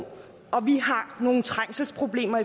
vi har nogle trængselsproblemer